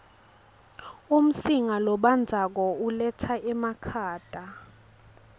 umsinga lobandzako uletsa emakhata